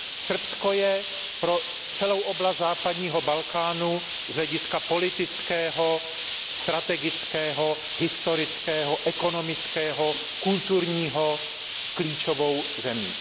Srbsko je pro celou oblast západního Balkánu z hlediska politického, strategického, historického, ekonomického a kulturního klíčovou zemí.